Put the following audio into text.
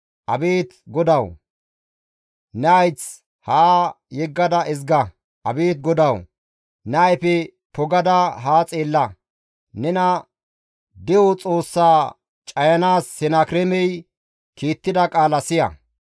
Abeet GODAWU, ne hayth haa yeggada ezga. Abeet GODAWU, ne ayfe pogada haa xeella. Nena De7o Xoossaa cayanaas Senakireemey kiittida qaala siya.